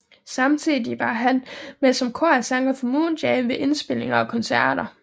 Samtidigt var han med som korsanger for Moonjam ved indspilninger og koncerter